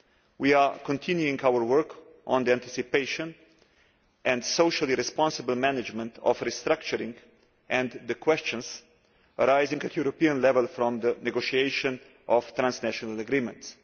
We are continuing our work on the anticipation and socially responsible management of restructuring and the questions arising at European level from the negotiation of transnational agreements.